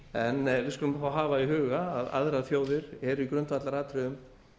en við skulum hafa í huga að aðrar þjóðir eru í grundvallaratriðum